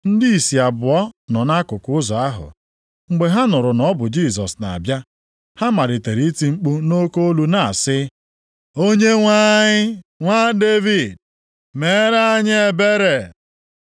Ndị ìsì abụọ nọ nʼakụkụ ụzọ ahụ. Mgbe ha nụrụ na ọ bụ Jisọs na-abịa, ha malitere iti mkpu nʼoke olu na-asị, “Onyenwe anyị, Nwa Devid, meere anyị ebere!”